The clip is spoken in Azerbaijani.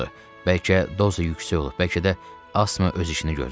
Bəlkə doza yüksək olub, bəlkə də astma öz işini görüb.